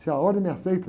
Se a ordem me aceita.